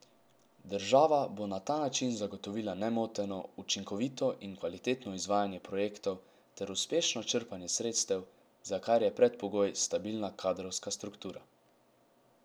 Država bo na ta način zagotovila nemoteno, učinkovito in kvalitetno izvajanje projektov ter uspešno črpanje sredstev, za kar je predpogoj stabilna kadrovska struktura.